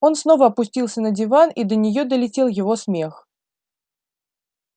он снова опустился на диван и до неё долетел его смех